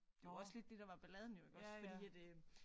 Det var også lidt det der var balladen jo iggås fordi at øh